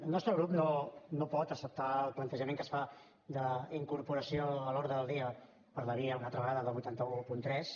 el nostre grup no pot acceptar el plantejament que es fa d’incorporació a l’ordre del dia per la via una altra vegada del vuit cents i tretze